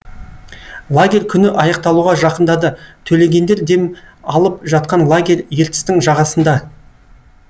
лагерь күні аяқталуға жақындады төлегендер дем алып жатқан лагерь ертістің жағасында